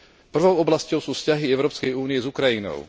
Prvou oblasťou sú vzťahy Európskej únie s Ukrajinou.